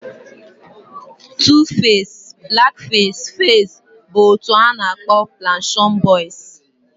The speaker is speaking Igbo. Tuface, blackface, faze bụ otu a na-akpọ planashion boiz